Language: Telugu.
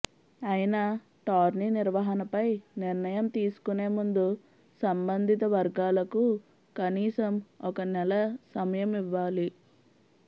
అయినా టోర్నీ నిర్వహణపై నిర్ణయం తీసుకునేముందు సంబంధిత వర్గాలకు కనీసం ఒక నెల సమయం ఇవ్వాలి